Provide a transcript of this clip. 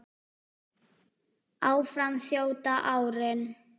Áfram þjóta árin